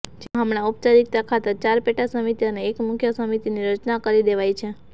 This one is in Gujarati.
જેમાં હમણાં ઔપચારિકતા ખાતર ચાર પેટા સમિતિ અને એક મુખ્ય સમિતિની રચના કરી દેવાઇ છે